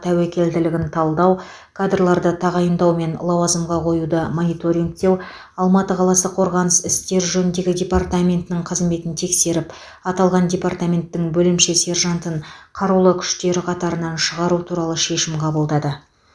тәуекелділігін талдау кадрларды тағайындау мен лауазымға қоюды мониторингтеу алматы қаласы қорғаныс істер жөніндегі департаментінің қызметін тексеріп аталған департаменттің бөлімше сержантын қарулы күштер қатарынан шығару туралы шешім қабылдады